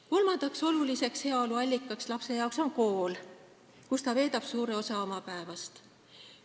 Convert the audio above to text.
Kolmas oluline heaolu allikas lapsele on kool, kus ta veedab suure osa oma päevast.